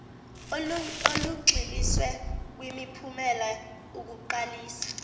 olugxiliswe kwimiphumela ukuqaliswa